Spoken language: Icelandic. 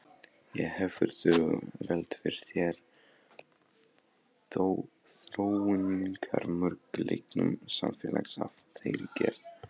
En hefurðu velt fyrir þér þróunarmöguleikum samfélags af þeirri gerð?